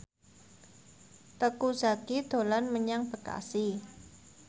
Teuku Zacky dolan menyang Bekasi